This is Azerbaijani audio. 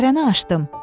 Dərəni aşdım.